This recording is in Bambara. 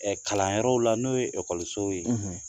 Ɛ kalanyɔrɔw la n'o ye ekɔlisow ye